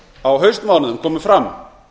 á haustmánuðum komu fram